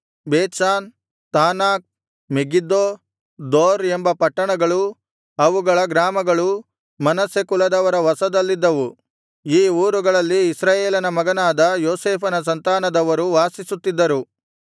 Bethshan Taanach Megiddo Dor ಎಂಬ ಪಟ್ಟಣಗಳೂ ಅವುಗಳ ಗ್ರಾಮಗಳೂ ಮನಸ್ಸೆ ಕುಲದವರ ವಶದಲ್ಲಿದ್ದವು ಈ ಊರುಗಳಲ್ಲಿ ಇಸ್ರಾಯೇಲನ ಮಗನಾದ ಯೋಸೇಫನ ಸಂತಾನದವರು ವಾಸಿಸುತ್ತಿದ್ದರು